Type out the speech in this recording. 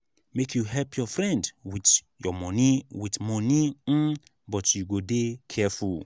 make you help your friend wit your friend wit moni um but you go dey careful.